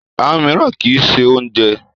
Àwọn mìíràn kì í ṣe oúnjẹ.